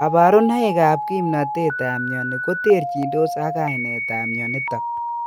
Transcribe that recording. Kabarunoik ak kimnotet ab myoni koterchindos ak ainet ab myonitok